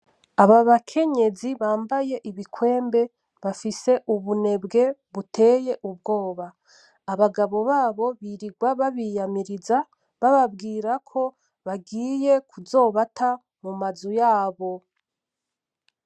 Aba bakenyezi bambaye ibikwembe bafise ubunebwe buteye ubwoba, abagabo babo birirwa babiyamiriza ,babwira ko bagiye kuzobata mumazi yabo